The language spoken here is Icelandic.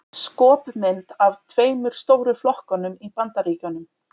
Skopmynd af tveimur stóru flokkunum í Bandaríkjunum.